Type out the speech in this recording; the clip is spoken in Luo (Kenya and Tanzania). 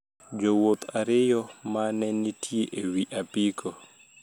Jowuoth ariyo ma ne nitie e wi apiko